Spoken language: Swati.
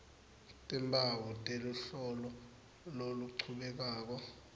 timphawu teluhlolo loluchubekako